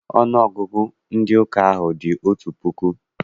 Ọnụọgụgụ ndị ụka ahụ dị otu puku.